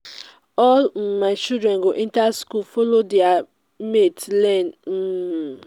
all um my children go enter school follow their mate learn. um